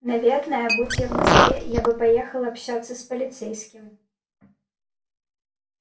наверное будь я в москве я бы поехала общаться с полицейским